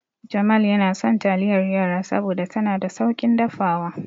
Jamal yana son taliyar yara saboda tana da sauƙin dafawa.